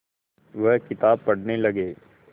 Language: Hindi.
वह किताब पढ़ने लगे